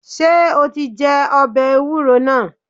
Ṣé o ti jẹ́ ọbẹ̀ ewúro náà?